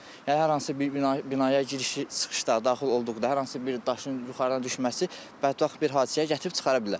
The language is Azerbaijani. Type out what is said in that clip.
Yəni hər hansı bir binaya girişi çıxışlar daxil olduqda, hər hansı bir daşın yuxarıdan düşməsi bədbəxt bir hadisəyə gətirib çıxara bilər.